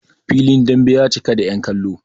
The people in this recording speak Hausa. filin dambe ya cika da yankallo